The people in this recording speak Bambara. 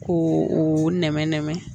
Ko o nɛmɛnɛmɛ